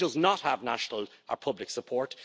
It does not have national public support.